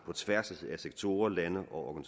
tværs af sektorer lande og